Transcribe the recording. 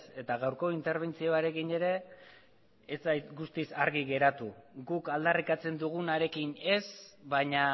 eta gaurko interbentzioarekin ere ez zait guztiz argi geratu guk aldarrikatzen dugunarekin ez baina